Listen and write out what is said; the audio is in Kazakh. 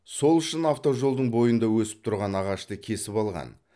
сол үшін автожолдың бойында өсіп тұрған ағашты кесіп алған